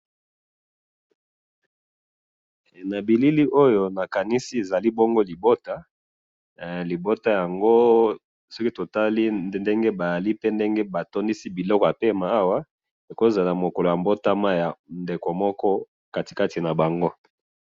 na bilili oyo nakandisi ezali bongo libota libota yango soki totali ndenge bazali pe ndenge batondisi biloko ya pema awa ekoki kozala mokolo ya botama ya mutu kati kati nabango